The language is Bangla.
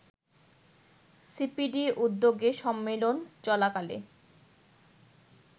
সিপিডি উদ্যোগে সম্মেলন চলাকালে